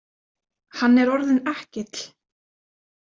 Hann er orðinn ekkill.